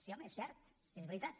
sí home és cert és veritat